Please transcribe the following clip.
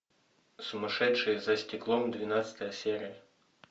сумасшедшие за стеклом двенадцатая серия